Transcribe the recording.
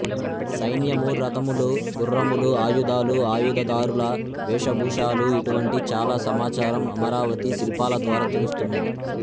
సైన్యము రథములు గుఱ్ఱములు ఆయుధాలు ఆయుధ ధారుల వేషభూషాలు ఇటువంటి చాలా సమాచారం అమరావతి శిల్పాలద్వారా తెలుస్తున్నది